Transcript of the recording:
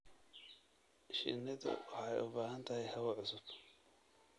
Shinnidu waxay u baahan tahay hawo cusub.